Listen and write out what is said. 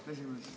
Kolleegid!